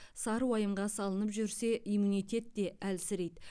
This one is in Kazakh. сары уайымға салынып жүрсе иммунитет те әлсірейді